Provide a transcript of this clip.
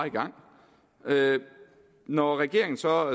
i gang når regeringen så